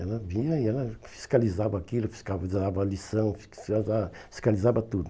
Ela via e ela fiscalizava aquilo, fiscalizava a lição, fiscalizava tudo.